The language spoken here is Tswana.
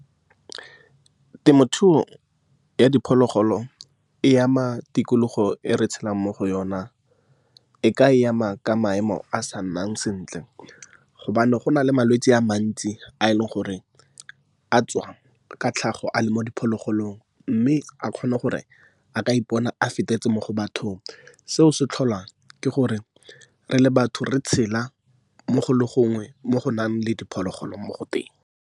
Temothuo ya diphologolo e ama tikologo e re tshelang mo go yona. E ka e ama ka maemo a sa nnang sentle gobane gona le malwetse a mantsi a e leng gore a tswa ka tlhago a le mo diphologolong, mme a kgone gore a ka ipona a fetetse mo go bathong, seo se tlholwa ke gore re le batho re tshela mo go le gongwe mo go nang le diphologolo mo go teng.